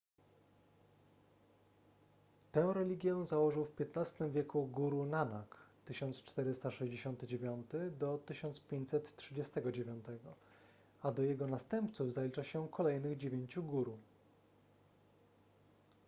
tę religię założył w xv wieku guru nanak 1469–1539 a do jego następców zalicza się kolejnych dziewięciu guru